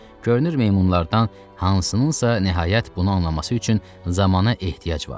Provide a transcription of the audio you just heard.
Görünür meymunlardan hansınınsa nəhayət bunu anlaması üçün zamana ehtiyac vardı.